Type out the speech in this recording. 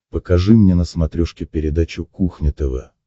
покажи мне на смотрешке передачу кухня тв